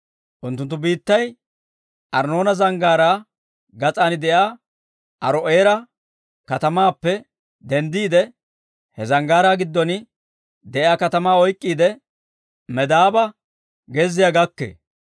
Unttunttu biittay Arnnoona Zanggaaraa gas'aan de'iyaa Aaro'eera katamaappe denddiide, he zanggaaraa giddon de'iyaa katamaa oyk'k'iide, Medaaba gezziyaa gakkee.